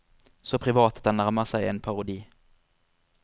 Så privat at den nærmer seg en parodi.